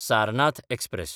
Sarnath express